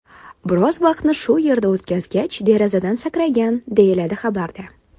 Biroz vaqtni shu yerda o‘tkazgach, derazadan sakragan”, deyiladi xabarda.